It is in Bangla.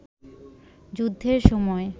যুদ্ধের সময়